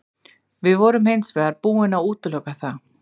Við vorum hins vegar búin að útiloka það.